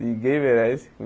Ninguém merece.